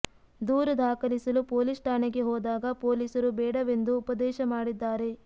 ದೂರು ದಾಖಲಿಸಲು ಪೋಲೀಸ್ ಠಾಣೆಗೆ ಹೋದಾಗ ಪೋಲೀಸರು ಬೇಡವೆಂದು ಉಪದೇಶ ಮಾಡಿದ್ದಾರೆ